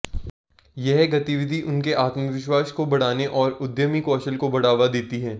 यह गतिविधि उनके आत्मविश्वास को बढ़ाने और उद्यमी कौशल को बढ़ावा देती है